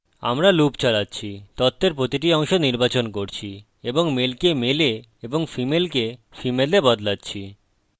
আমরা লুপ চালাচ্ছি তথ্যের প্রতিটি অংশ নির্বাচন করছি এবং male কে male এ এবং female কে female এ বদলাচ্ছি